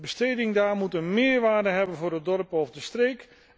En de besteding daar moet een meerwaarde hebben voor het dorp of de streek.